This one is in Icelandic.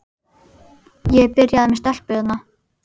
Ég er byrjaður með stelpu hérna.